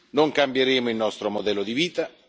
Non cambieremo il nostro modello di vita.